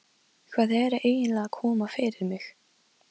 Hvað er eiginlega að koma fyrir mig?